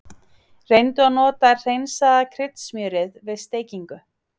Reyndu að nota hreinsaða kryddsmjörið við steikingu.